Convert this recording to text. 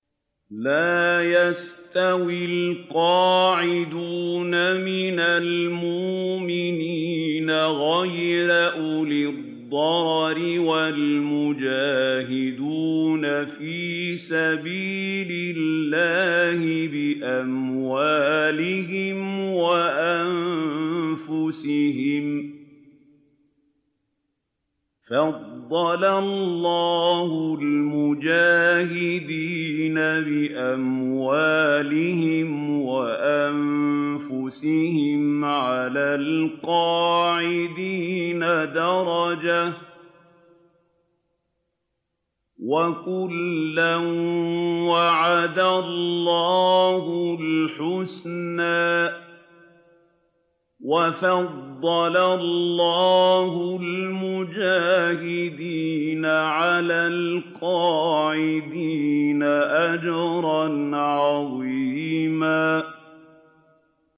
لَّا يَسْتَوِي الْقَاعِدُونَ مِنَ الْمُؤْمِنِينَ غَيْرُ أُولِي الضَّرَرِ وَالْمُجَاهِدُونَ فِي سَبِيلِ اللَّهِ بِأَمْوَالِهِمْ وَأَنفُسِهِمْ ۚ فَضَّلَ اللَّهُ الْمُجَاهِدِينَ بِأَمْوَالِهِمْ وَأَنفُسِهِمْ عَلَى الْقَاعِدِينَ دَرَجَةً ۚ وَكُلًّا وَعَدَ اللَّهُ الْحُسْنَىٰ ۚ وَفَضَّلَ اللَّهُ الْمُجَاهِدِينَ عَلَى الْقَاعِدِينَ أَجْرًا عَظِيمًا